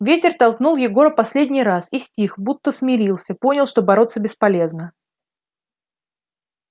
ветер толкнул егора последний раз и стих будто смирился понял что бороться бесполезно